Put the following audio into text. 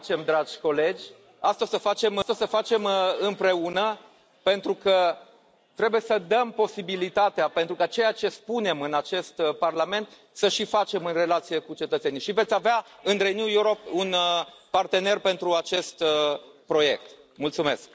o să facem, dragi colegi, asta o să facem împreună, pentru că trebuie să dăm posibilitatea ca ceea ce spunem în acest Parlament să și facem în relațiile cu cetățenii. Veți avea în Renew Europe un partener pentru acest proiect. Mulțumesc.